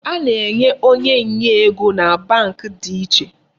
A na-enwe onye nye ego na Bank dị iche.